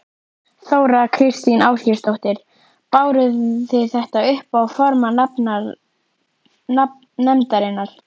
Þóra Kristín Ásgeirsdóttir: Báru þið þetta upp á formann nefndarinnar?